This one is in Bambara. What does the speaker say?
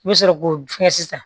I bɛ sɔrɔ k'o fiyɛ sisan